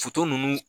ninnu